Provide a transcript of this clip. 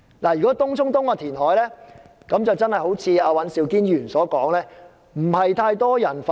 對於東涌東的填海，正如尹兆堅議員所說，並非太多人反對。